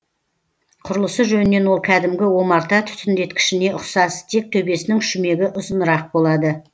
құрылысы жөнінен ол кәдімгі омарта түтіндеткішіне ұқсас тек төбесінің шүмегі ұзынырақ болады